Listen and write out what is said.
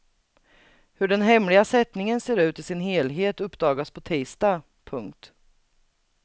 Hur den hemliga sättningen ser ut i sin helhet uppdagas på tisdag. punkt